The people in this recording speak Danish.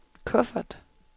kuffert